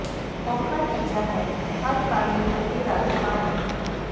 ਔਖਾ ਟੀਚਾ ਹੈ ਹਰ ਘਰ ਨੂੰ ਟੂਟੀ ਰਾਹੀਂ ਪਾਣੀ